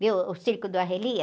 Viu o circo do Arrelia?